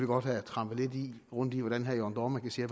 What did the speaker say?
godt have trampet lidt rundt i hvordan herre jørn dohrmann kan sige